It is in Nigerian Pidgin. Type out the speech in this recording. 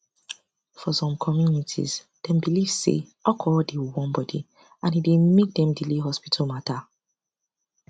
for some communities dem believe say alcohol dey warm body and e dey make dem delay hospital matter